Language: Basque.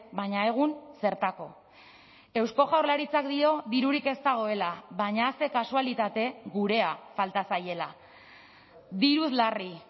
baina egun zertako eusko jaurlaritzak dio dirurik ez dagoela baina ze kasualitate gurea falta zaiela diruz larri